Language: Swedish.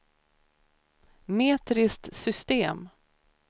metriskt system